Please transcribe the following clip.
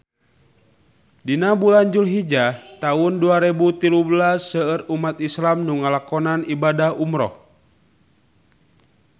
Dina bulan Julhijah taun dua rebu tilu belas seueur umat islam nu ngalakonan ibadah umrah